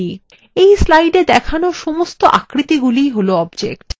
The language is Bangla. এই slideএ দেখানো সমস্ত আকৃতিগুলিই all objects